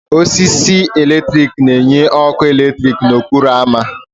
Osisi eletrik na-enye ọkụ eletrik n'okporo ámá.